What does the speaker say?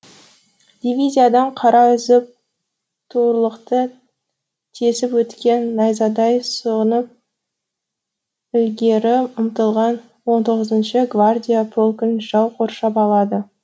дивизиядан қара үзіп туырлықты тесіп өткен найзадай сұғынып ілгері ұмтылған он тоғызыншы гвардия полкін жау қоршап алады